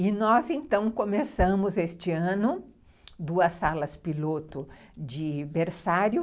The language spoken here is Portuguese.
E nós, então, começamos este ano duas salas piloto de berçário,